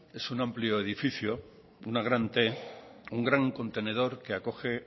es un amplio edificio de una gran t un gran contendor que acoge